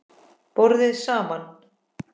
BORÐIÐ SAMAN